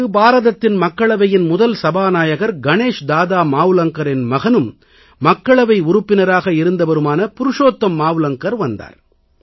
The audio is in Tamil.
அங்கு பாரதத்தின் மக்களவையின் முதல் சபாநாயகர் கணேஷ் தாதா மாவ்லங்கரின் மகனும் மக்களவை உறுப்பினராக இருந்தவருமான புருஷோத்தம் மாவ்லங்கர் வந்தார்